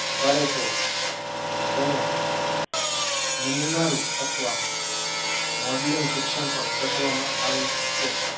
કરેતો તેને નમૂના રૂપ અથવા modling શિક્ષણ પણ કહેવામાં આવે છે.